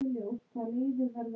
skal fróðra hver